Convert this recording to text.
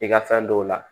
I ka fɛn dɔw la